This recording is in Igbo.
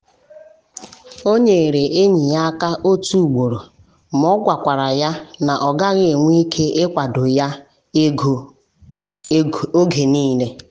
ọ nyere enyi ya aka otu ugboro ma o gwakwara ya na ọ gaghị enwe ike ịkwado ya ego oge niile.